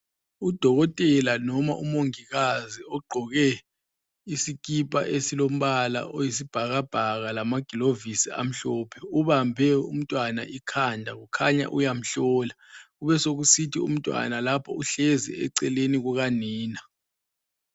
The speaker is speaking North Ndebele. Udokotela noma umongikazi ogqoke isikipha esilombala oyisibhakabhaka lamagilovisi amhlophe ubambe umntwana ikhanda kukhanya uyamhlola. Kubesokusithi umntwana lapho uhlezi eceleni kukanina.